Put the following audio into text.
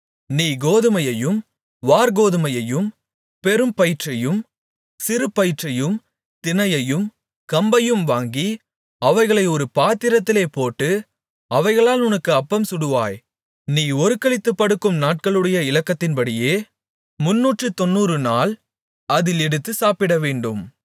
நீ கோதுமையையும் வாற்கோதுமையையும் பெரும்பயிற்றையும் சிறுபயிற்றையும் தினையையும் கம்பையும் வாங்கி அவைகளை ஒரு பாத்திரத்திலே போட்டு அவைகளால் உனக்கு அப்பம்சுடுவாய் நீ ஒருக்களித்துப் படுக்கும் நாட்களுடைய இலக்கத்தின்படியே முந்நூற்றுத்தொண்ணூறுநாள் அதில் எடுத்துச் சாப்பிடவேண்டும்